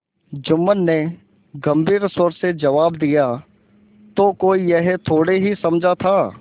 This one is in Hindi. जुम्मन ने गम्भीर स्वर से जवाब दियातो कोई यह थोड़े ही समझा था